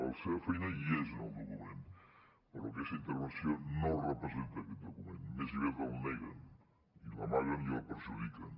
la seva feina hi és en el document però aquesta intervenció no representa aquest document més aviat el neguen l’amaguen i el perjudiquen